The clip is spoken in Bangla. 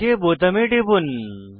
ওক বোতামে টিপুন